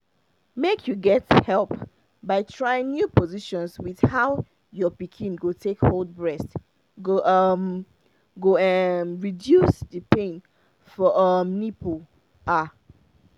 make you get help by trying new positions with how your pikin go take hold breast go um go um reduce the pain for um nipple ah